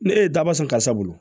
Ne e ye daba san karisa bolo